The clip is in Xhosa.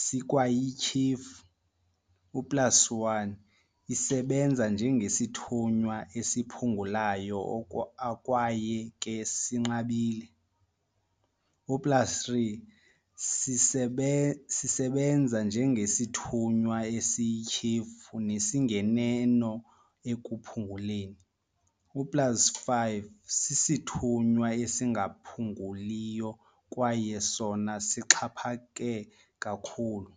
sikwayityhefu- plus1 isebenza njengesithunywa esiphungulayo akwaye ke sinqabile, plus3 sisebenza njengesithunywa esiyityhefu nesinganeno ekuphunguleni, plus5 sisithunywa esingaphunguliyo kwaye sona sixhaphake kakhulu.